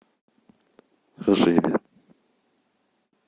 ржеве